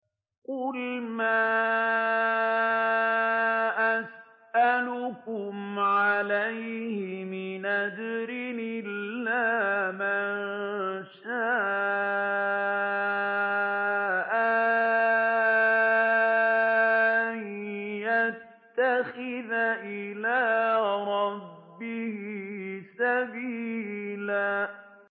قُلْ مَا أَسْأَلُكُمْ عَلَيْهِ مِنْ أَجْرٍ إِلَّا مَن شَاءَ أَن يَتَّخِذَ إِلَىٰ رَبِّهِ سَبِيلًا